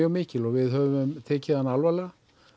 mikil við höfum tekið hana alvarlega